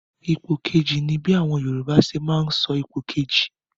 Ipò kejì' ni bí àwọn Yorùbá ṣe máa ń sọ ipò kejì.